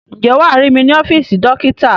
Ǹjẹ́ wàá rí mí ní ọ́fíìsì dókítà?